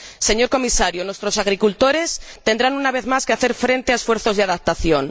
Señor Comisario, nuestros agricultores tendrán, una vez más, que hacer frente a esfuerzos de adaptación.